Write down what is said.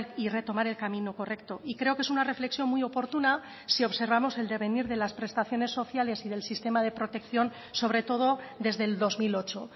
y retomar el camino correcto y creo que es una reflexión muy oportuna si observamos el devenir de las prestaciones sociales y del sistema de protección sobre todo desde el dos mil ocho